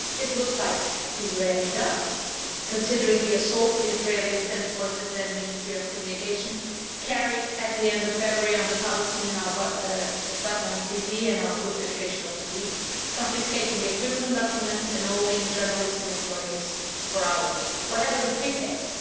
It looks like Israel is, considering the assault the Israeli defence forces and Ministry of Communication carried out at the end of February on the Palestinian Al Watan TV and Al Quds Educational TV, confiscating equipment and documents and holding journalists and employees for hours, on whatever pretext.